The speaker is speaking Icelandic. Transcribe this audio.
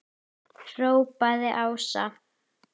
hrópaði Ása.